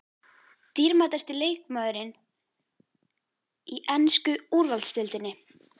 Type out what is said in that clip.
Dýrmætasti leikmaðurinn í ensku úrvalsdeildinni?